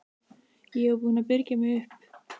Ég var búin að byrgja mig upp.